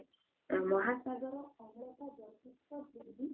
ମହାସାଗର ଅମ୍ଳ ଯଥେଷ୍ଟ ବୃଦ୍ଧି